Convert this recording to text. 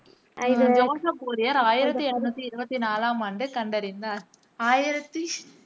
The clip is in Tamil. ஜோசப் ஃபோரியர் ஆயிரத்தி எண்ணூத்தி இருவத்தி நாலாம் ஆண்டு கண்டறிந்தார், ஆயிரத்தி